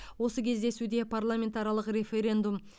осы кездесуде парламентаралық референдум